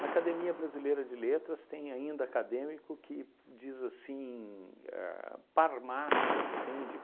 Na Academia Brasileira de Letras tem ainda acadêmico que diz assim, a parmácia, entende?